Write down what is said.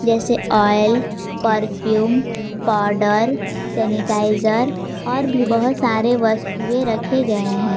जैसे oil perfume powder sanitizer और भी बहुत सारे वस्तुएं रखे गए हैं।